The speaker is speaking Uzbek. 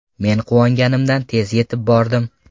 Men quvonganimdan tez yetib bordim.